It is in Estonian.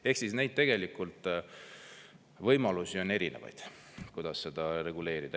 Ehk tegelikult võimalusi on erinevaid, kuidas seda reguleerida.